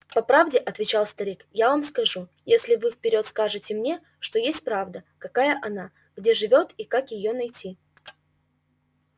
по правде отвечал старик я вам скажу если вы вперёд скажете мне что есть правда какая она где живёт и как её найти